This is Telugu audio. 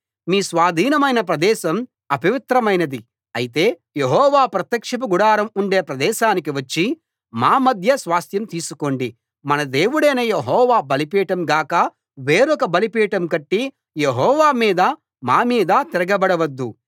మీ స్వాధీనమైన ప్రదేశం అపవిత్రమైనది అయితే యెహోవా ప్రత్యక్షపు గుడారం ఉండే ప్రదేశానికి వచ్చి మా మధ్య స్వాస్థ్యం తీసుకోండి మన దేవుడైన యెహోవా బలిపీఠం గాక వేరొక బలిపీఠం కట్టి యెహోవా మీదా మామీదా తిరగబడవద్దు